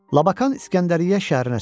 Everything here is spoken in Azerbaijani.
Labakan İskəndəriyyə şəhərinə çatdı.